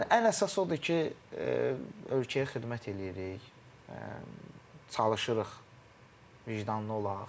Ən əsas odur ki, ölkəyə xidmət eləyirik, çalışırıq vicdanlı olaq.